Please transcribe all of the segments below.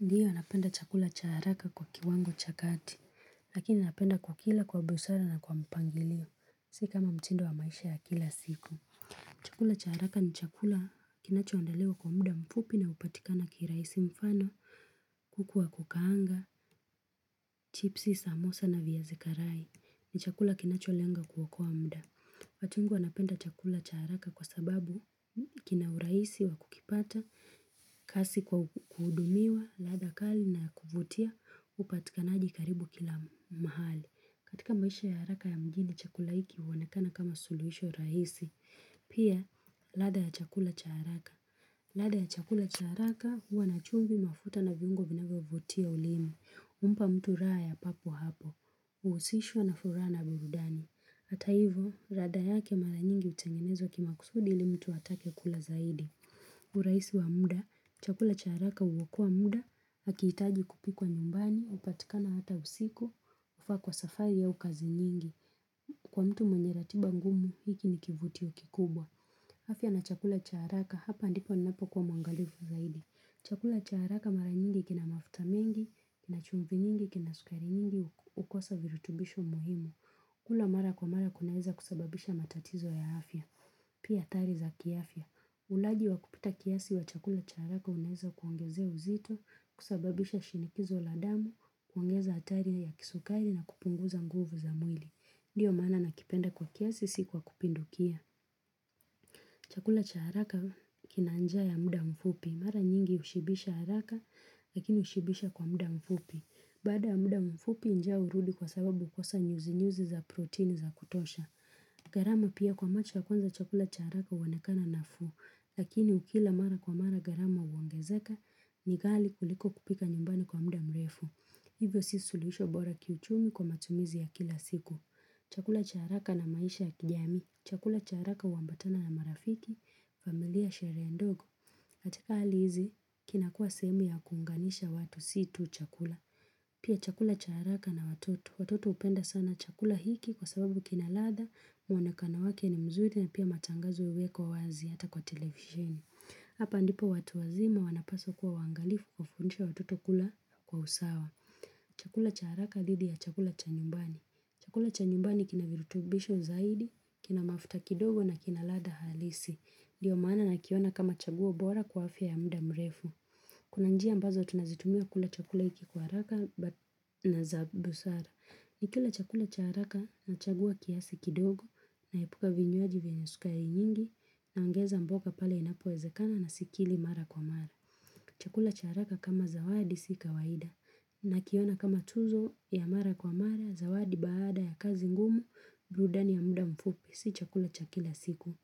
Ndiyo napenda chakula cha haraka kwa kiwango cha kati, lakini napenda kukila kwa busara na kwa mpangilio, siyo kama mtindo wa maisha ya kila siku. Chakula cha haraka ni chakula kinacho andaliwa kwa muda mfupi na upatikana kirahisi mfano, kuku wa kukaanga, chipsi, samosa na viazi karai ni chakula kinacho lenga kuokoa muda. Watu wengi wanapenda chakula cha haraka kwa sababu kina urahisi wa kukipata, kasi kwa kuhudumiwa, ladha kali na kuvutia, upatikanaji karibu kila mahali. Katika maisha ya haraka ya mjini chakula hiki huonekana kama suluhisho rahisi. Pia, lada ya chakula cha haraka. Ladha ya chakula cha haraka huwa na chumvi mafuta na viungo vinavyovutia ulimi. Umpa mtu raha ya papo hapo. Uhusishwa na furaana burudani. Hata hivyo, radha yake mara nyingi hutengenezwa kimakusudi ili mtu atake kula zaidi. Urahisi wa muda, chakula cha haraka huokoa muda, hakiitaji kupikwa nyumbani, upatikana hata usiku, ufaa kwa safari au kazi nyingi. Kwa mtu mwenye ratiba ngumu, hiki ni kivutio kikubwa. Afya na chakula cha haraka, hapa ndipo ninapokuwa mwangalifu zaidi. Chakula cha haraka mara nyingi kina mafuta mengi, kina chumvi nyingi, kina sukari nyingi, hukosa virutubisho muhimu. Kula mara kwa mara kunaweza kusababisha matatizo ya afya. Pia hatari za kiafya. Ulaji wa kupita kiasi wa chakula cha haraka unaweza kuongezea uzito, kusababisha shinikizo la damu, kuongeza hatari ya kisukari na kupunguza nguvu za mwili. Ndiyo maana ninakipenda kwa kiasi sikwa kupindukia. Chakula cha haraka kinanjaa ya muda mfupi. Mara nyingi ushibisha haraka lakini ushibisha kwa muda mfupi. Baada ya muda mfupi njaa urudi kwasababu hukosa nyuzi nyuzi za protein za kutosha. Gharama pia kwa macho ya kwanza chakula cha haraka huonekana na fuu. Lakini ukila mara kwa mara gharama huongezaka ni ghali kuliko kupika nyumbani kwa muda mrefu. Hivyo siyo suluhisho bora kiuchumi kwa matumizi ya kila siku. Chakula cha haraka na maisha ya kijamii. Chakula cha haraka uambatana na marafiki. Familia Sherehe ndogo. Katika hali hizi kinakua sehemu ya kuunganisha watu siyotu chakula. Pia chakula cha haraka na watoto. Watoto hupenda sana chakula hiki kwa sababu kina ladha muonekano wake ni mzuri na pia matangazo huwekwa wazi hata kwa televisheni. Hapa ndipo watu wazima wanapaswa kuwa waangalifu kufundisha watoto kula kwa usawa. Chakula cha haraka dhidi ya chakula cha nyumbani. Chakula cha nyumbani kina virutubisho zaidi, kina mafuta kidogo na kina ladha halisi. Ndiyo maana na kiona kama chaguo bora kwa afya ya muda mrefu. Kuna njia ambazo tunazitumia kula chakula hiki kwa haraka na zabusara. Nikila chakula cha haraka na chagua kiasi kidogo naepuka vinywaji vyenye sukari nyingi na ongeza mboga pale inapowezekana na sikili mara kwa mara. Chakula cha haraka kama zawadi sika waida. Na kiona kama tuzo ya mara kwa mara, zawadi baada ya kazi ngumu, burudani ya muda mfupi, siyo chakula cha kila siku.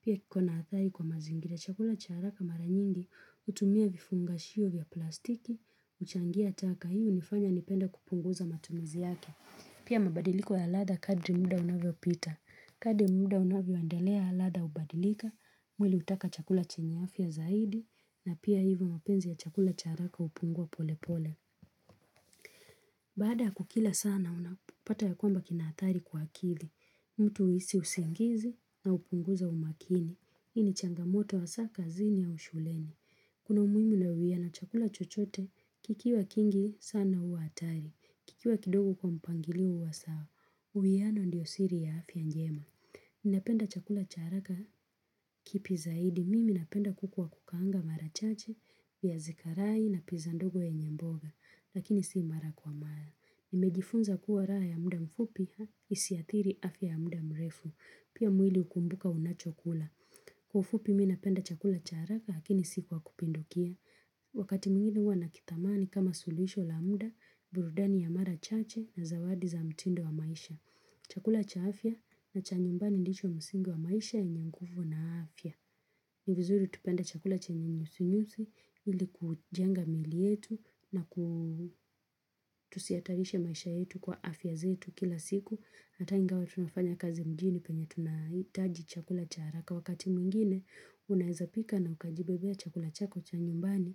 Pia kikona athari kwa mazingira chakula cha haraka mara nyingi, hutumia vifunga shio vya plastiki, huchangia taka, hii unifanya nipende kupunguza matumizi yake. Pia mabadiliko ya ladha kadri muda unavyo pita. Kadri muda unavyo endelea ladha hubadilika, mwili utaka chakula chenye afya zaidi, na pia hivyo mapenzi ya chakula cha haraka hupungua pole pole. Baada kukila sana, unapata ya kwamba kina athari kwa akili. Mtu uhisi usingizi na upunguza umakini. Hii ni changamoto hasa kazini au shuleni. Kuna umuhimu na uwiano chakula chochote, kikiwa kingi sana huwa hatari. Kikiwa kidogo kwa mpangilio huwa sawa. Uwiano ndiyo siri ya afya njema. Ninapenda chakula cha haraka kipi zaidi mimi ninapenda kuku waa kukaanga mara chache viazi karai na pizandogo yenyemboga lakini siyo mara kwa mara. Nimejifunza kuwa raha ya muda mfupi isiathiri afya ya muda mrefu pia mwili hukumbuka unachokula. Kwa ufupu mimi ninapenda chakula cha haraka lakini siyo kwa kupindukia. Wakati mwingine huwa nakitamani kama suluhisho la muda, burudani ya mara chache na zawadi za mtindo wa maisha. Chakula cha afya na cha nyumbani ndicho msingi wa maisha yenye nguvu na afya. Nivizuri tupende chakula chenye nyuzinyuzi ili kujenga miili yetu na tusihatarishe maisha yetu kwa afya zetu kila siku. Hata ingawa tunafanya kazi mjini penye tunahitaji chakula cha haraka wakati mwingine unawezapika na ukajibebea chakula chako chanyumbani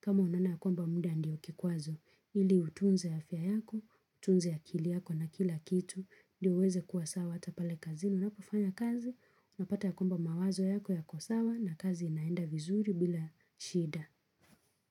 kama unaona kwamba muda ndiyo kikwazo. Ili utunze afya yako, utunze akili yako na kila kitu, ili uweze kuwa sawa hata pale kazini, unapofanya kazi, unapata ya kwamba mawazo yako yako sawa na kazi inaenda vizuri bila shida.